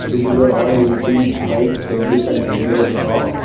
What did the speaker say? this is a royal enfield bike service and repair shop.